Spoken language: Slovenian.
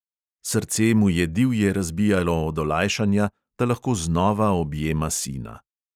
Srce mu je divje razbijalo od olajšanja, da lahko znova objema sina.